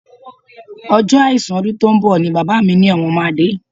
Ọjọ́ àìsùn ọdún tó ń bọ̀ ni bàbá mi ní àwọn máa dé